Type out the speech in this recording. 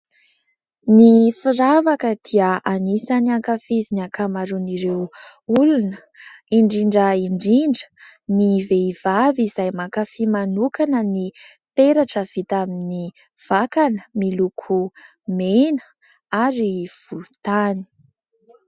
Ny firavaka dia anisan'ny hankafizin'ny ankamaron'ireo olona. Indrindra indrindra ny vehivavy izay mankafy manokana ny peratra vita amin'ny vakana miloko mena ary volontany.